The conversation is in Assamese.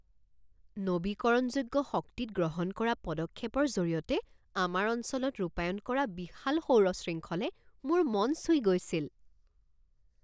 নৱীকৰণযোগ্য শক্তিত গ্ৰহণ কৰা পদক্ষেপৰ জৰিয়তে আমাৰ অঞ্চলত ৰূপায়ণ কৰা বিশাল সৌৰ শৃংখলে মোৰ মন চুই গৈছিল।